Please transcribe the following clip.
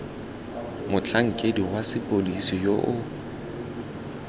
motlhankedi wa sepodisi yo o